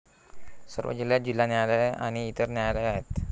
सर्व जिल्ह्यांत जिल्हा न्यायालये आणि इतर न्यायालये आहेत.